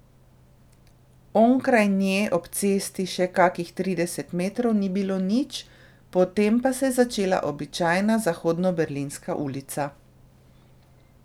Onkraj nje ob cesti še kakih trideset metrov ni bilo nič, potem pa se je začela običajna zahodnoberlinska ulica.